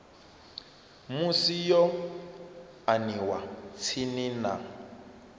musi yo aniwa tsini na